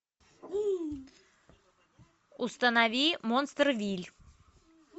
установи монстервилль